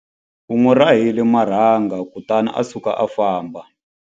U n'wi rahile marhanga kutani a suka a famba.